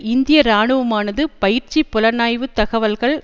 இந்திய இராணுவமானது பயிற்சி புலனாய்வு தகவல்கள்